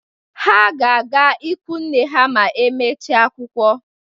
Ha ga-aga ikwunne ha ma e mechie akwụkwọ.